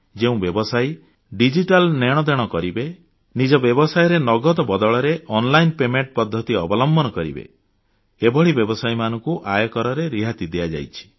ଯେଉଁ ବ୍ୟବସାୟୀ ଡିଜିଟାଲ ନେଣଦେଣ କରିବେ ନିଜ ବ୍ୟବସାୟରେ ନଗଦ ବଦଳରେ ଅନଲାଇନ୍ ପେମେଣ୍ଟ ପଦ୍ଧତି ଅବଲମ୍ବନ କରିବେ ଏଭଳି ବ୍ୟବସାୟୀମାନଙ୍କୁ ଆୟକରରେ ରିହାତି ଦିଆଯାଇଛି